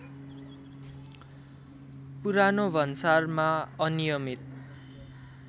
पुरानो भन्सारमा अनियमित